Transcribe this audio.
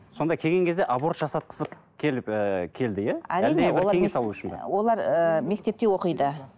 сонда келген кезде аборт жасатқысы келіп ііі келді иә олар ыыы мектепте оқиды